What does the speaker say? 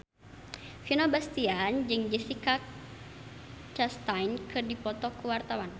Vino Bastian jeung Jessica Chastain keur dipoto ku wartawan